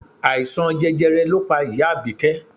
Àìsàn jẹjẹrẹ ló pa ìyá Abike